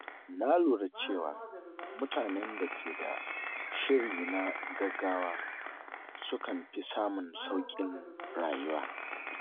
Na lura cewa mutanen da ke da shiri na gaggawa sukan fi samun sauƙin rayuwa.